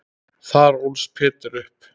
Þar ólst Peder upp.